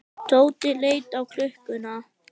Tóti leit á klukkuna.